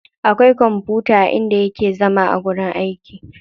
Akwai kwamfuta a inda yake zama a wajen aiki.